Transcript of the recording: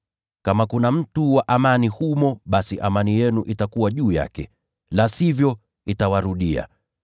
Kama kuna mtu wa amani humo, basi amani yenu itakuwa juu yake. La sivyo, itawarudia.